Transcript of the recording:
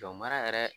Dɔn mara yɛrɛ